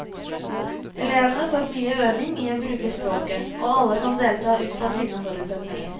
Elevene får mye øving i å bruke språket, og alle kan delta ut fra sine forutsetninger.